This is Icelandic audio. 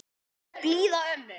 Um blíða ömmu.